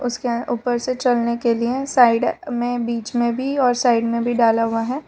उसके ऊपर से चलने के लिए साइड में बीच में भी और साइड में भी डाला हुआ है।